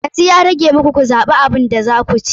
Yanzu ya rage muku ku zaɓi abin da za ku ci.